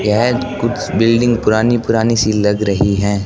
यह त कुछ बिल्डिंग पुरानी पुरानी सी लग रही हैं।